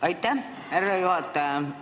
Aitäh, härra juhataja!